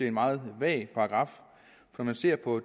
en meget vag paragraf når man ser på